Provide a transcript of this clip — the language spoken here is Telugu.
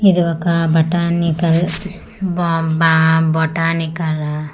ఇది ఒక బాటానికల్ బో బా బొటానికల్ .]